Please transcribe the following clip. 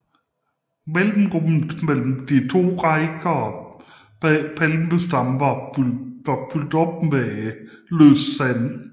Mellemrummet mellem de to rækker palmestammer var fyldt op med løst sand